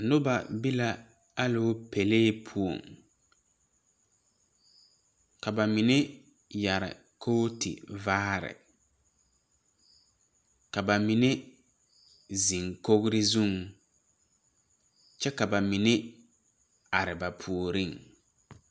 Noba be la alopɛlee puoŋ ka ba mine yɛre kooto vaare ka bamine zeŋ kogri zuŋ kyɛ ka bamine are ba puoriŋ.